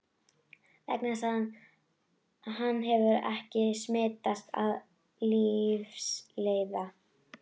Vegna þess að hann hefur ekki smitast af lífsleiða.